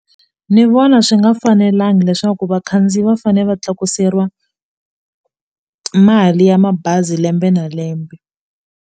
Ni vona swi nga fanelanga leswaku vakhandziyi va fanele va tlakuseriwa mali ya mabazi lembe na lembe.